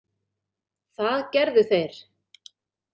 Það gerðu þeir.